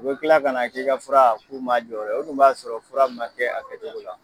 U bɛ tila kana k'i ka fura k'u m'a jɔyɔrɔ ye o dun b'a sɔrɔ fura ma kɛ a kɛcogo la.